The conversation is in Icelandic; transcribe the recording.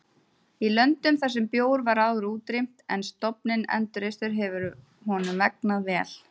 Í löndum þar sem bjór var áður útrýmt en stofninn endurreistur hefur honum vegnað vel.